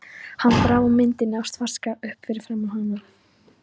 Hann brá myndinni af Svartskegg upp fyrir framan hana.